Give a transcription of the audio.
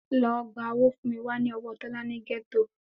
Lọ gba owó fún mi wá ní ọwọ́ Tọ́lá ní gẹ́tò